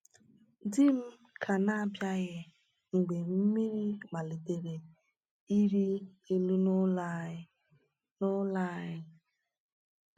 Di m ka na-abịaghị mgbe mmiri malitere ịrị elu n’ụlọ anyị. n’ụlọ anyị.